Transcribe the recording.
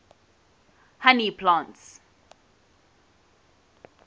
honey plants